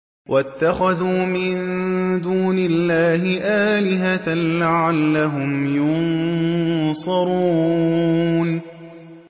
وَاتَّخَذُوا مِن دُونِ اللَّهِ آلِهَةً لَّعَلَّهُمْ يُنصَرُونَ